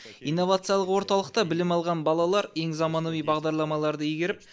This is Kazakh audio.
инновациялық орталықта білім алған балалар ең заманауи бағдарламаларды игеріп